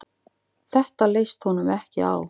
Þetta leist honum ekki á.